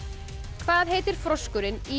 hvað heitir froskurinn í